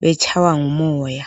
betshaywa ngumoya.